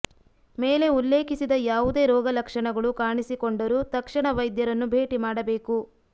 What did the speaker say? ಮೇಲೆ ಉಲ್ಲೇಖಿಸಿದ ಯಾವುದೇ ರೋಗಲಕ್ಷಣಗಳು ಕಾಣಿಸಿಕೊಂಡರೂ ತಕ್ಷಣ ವೈದ್ಯರನ್ನು ಭೇಟಿ ಮಾಡಬೇಕು